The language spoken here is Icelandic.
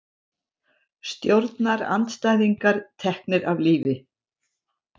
Stjórnarandstæðingar teknir af lífi